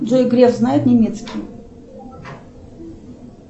джой греф знает немецкий